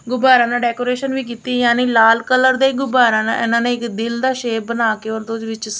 ਗੁੱਬਾਰੇਆਂ ਨਾਲ ਡੈਕੋਰੇਸ਼ਨ ਵੀ ਕਿੱਤੀ ਯਾਨੀ ਲਾਲ ਕਲਰ ਦੇ ਗੁਬਾਰੇਆਂ ਨਾਲ ਏਹਨਾਂ ਨੇ ਇੱਕ ਦਿਲ ਦਾ ਸ਼ੇਪ ਬਣਾ ਕੇ